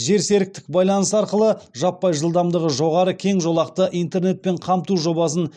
жерсеріктік байланыс арқылы жаппай жылдамдығы жоғары кең жолақты интернетпен қамту жобасын